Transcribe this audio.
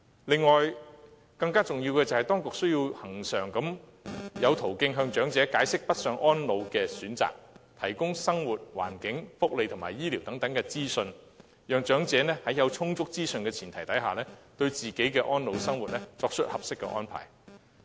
此外，更重要的是，當局需要有恆常途徑向長者解釋北上安老的選擇，提供生活環境、福利及醫療等資訊，讓長者在有充足資訊的前提下，對自己的安老生活作出合適的安排。